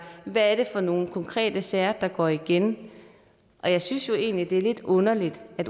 hvad er det for nogle konkrete sager der går igen jeg synes jo egentlig det er lidt underligt at